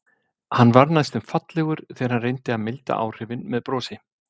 Hann varð næstum fallegur þegar hann reyndi að milda áhrifin með brosi.